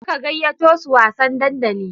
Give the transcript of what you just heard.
Tafi ka gayyato su wasan dandali.